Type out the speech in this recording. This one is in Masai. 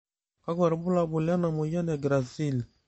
kakua irbulabol le moyian e GRACILE?